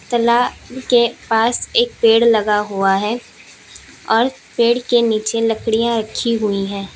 तालाब के पास एक पेड़ लगा हुआ है और पेड़ के नीचे लकड़ियां रखी हुई हैं।